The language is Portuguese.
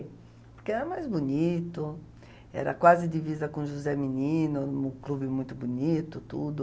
Porque era mais bonito, era quase divisa com José Menino, um clube muito bonito, tudo.